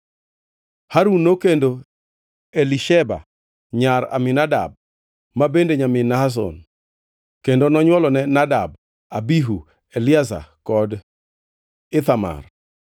Harun nokendo Elisheba nyar Aminadab ma bende nyamin Nashon, kendo nonywolone Nadab, Abihu, Eliazar kod Ithamar.